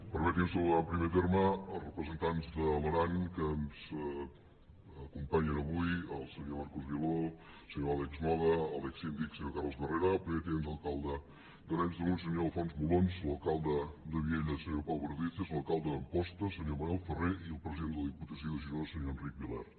permeti’m saludar en primer terme els representants de l’aran que ens acompanyen avui el senyor marcos viló senyor àlex moga a l’exsíndic senyor carles barrera el primer tinent d’alcalde d’arenys de munt senyor alfons molons l’alcalde de viella senyor pau perdices l’alcalde d’amposta senyor manel ferré i el president de la diputació de girona senyor enric vilert